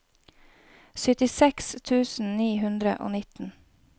syttiseks tusen ni hundre og nitten